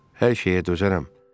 Hər şeyə dözərəm.